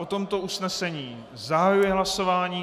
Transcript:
O tomto usnesení zahajuji hlasování.